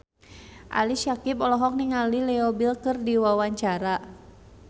Ali Syakieb olohok ningali Leo Bill keur diwawancara